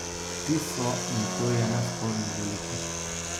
Ti so, in to je nesporno, veliki.